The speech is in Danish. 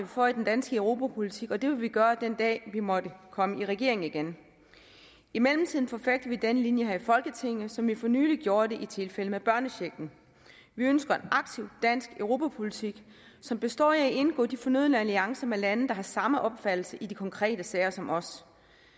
for i den danske europapolitik og det vil vi gøre den dag vi måtte komme i regering igen i mellemtiden forfægter vi den linje her i folketinget som vi for nylig gjorde det i tilfældet med børnechecken vi ønsker en aktiv dansk europapolitik som består i at indgå de fornødne alliancer med lande der har samme opfattelse i de konkrete sager som os